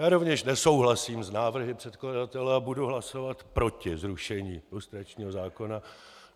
Já rovněž nesouhlasím s návrhy předkladatele a budu hlasovat proti zrušení lustračního zákona.